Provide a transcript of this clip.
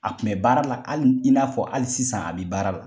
A kun bɛ baara la hali in n'a fɔ hali sisan a bɛ baara la.